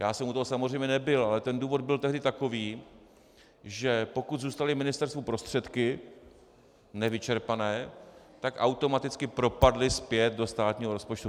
Já jsem u toho samozřejmě nebyl, ale ten důvod byl tehdy takový, že pokud zůstaly ministerstvu prostředky nevyčerpané, tak automaticky propadly zpět do státního rozpočtu.